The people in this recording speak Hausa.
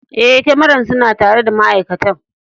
Eh, kyamaran suna tare da ma'aikatan.